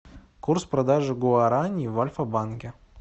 курс продажи гуарани в альфа банке